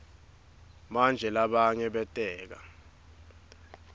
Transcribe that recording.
manje labanye bateka